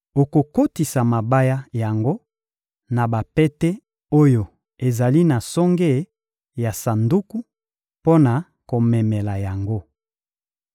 Okokotisa mabaya yango na bapete oyo ezali na songe ya sanduku, mpo na komemela yango.